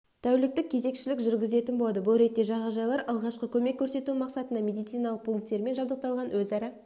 тәуліктік кезекшілік жүргізетін болады бұл ретте жағажайлар алғашқы көмек көрсету мақсатында медициналық пункттермен жабдықталған өзара